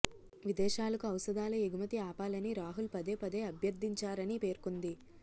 విదేశాలకు ఔషధాల ఎగుమతి ఆపాలని రాహుల్ పదే పదే అభ్యర్థించారని పేర్కొంది